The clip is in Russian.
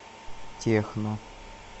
техно